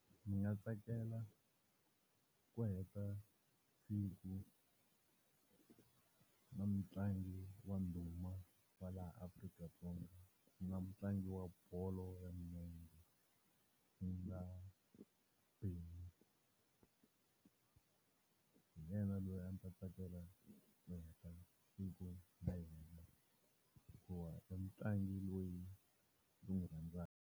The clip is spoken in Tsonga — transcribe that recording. Ni nga tsakela ku heta siku na mutlangi wa ndhuma wa laha Afrika-Dzonga ku nga mutlangi wa bolo ya milenge, ku nga . Hi yena loyi a ndzi ta tsakela ku heta siku na yena, hikuva i mutlangi loyi ndzi n'wi rhandzaka.